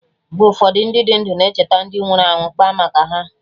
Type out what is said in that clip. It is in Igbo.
Mgbe ụfọdụ, Ndị dị ndụ na-echeta ndị nwụrụ anwụ, kpaa maka ha